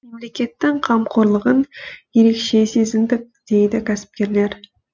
мемлекеттің қамқорлығын ерекше сезіндік дейді кәсіпкерлер